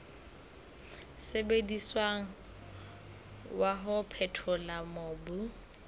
sebediswang wa ho phethola mobu